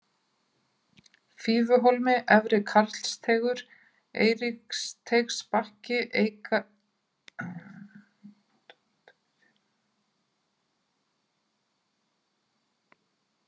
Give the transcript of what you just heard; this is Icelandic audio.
Fífuhólmi, Efri-Karlsteigur, Eiríksteigsbakki, Heygarðsstykki